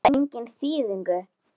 Hefur það enga þýðingu?